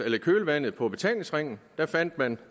i kølvandet på betalingsringen der fandt man